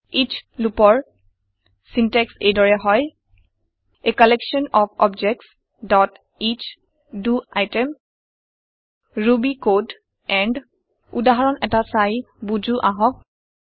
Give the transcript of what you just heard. S লুপৰ syntax এই দৰে হয় a collection of objects dot each the item Ruby code and উদাহৰণ এটা চাই বোজো আহক